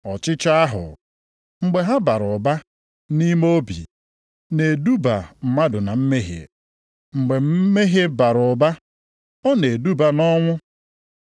Ọchịchọ ahụ, mgbe ha bara ụba nʼime obi, na-eduba mmadụ na mmehie. Mgbe mmehie bara ụba, ọ na-eduba nʼọnwụ.